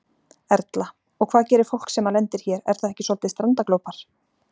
Erla: Og hvað gerir fólk sem að lendir hér, er það ekki soldið strandaglópar?